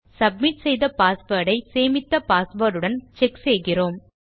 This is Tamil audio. சப்மிட் செய்த பாஸ்வேர்ட் ஐ சேமித்த பாஸ்வேர்ட் உடன் செக் செய்கிறோம்